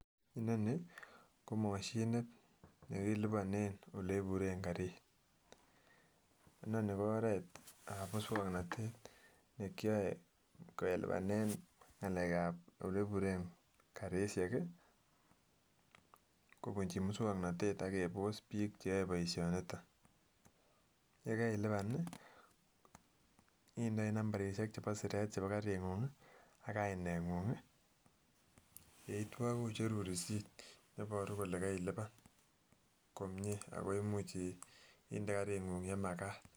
Inoni komoshinit nekiliponen eleburen karit, inoni ko oretab muswoknotet nekioe kelibanen ngalekab oleburen karishek i kobunchi muswoknotet akebos biik cheyoe boishoniton, yekeiliban i indoi nambarishek chebo siret chebo karing'ung i akainengung i, yeitwo kocherun risit akole kailipan komnye akoimuch inde karing'ung olemakat.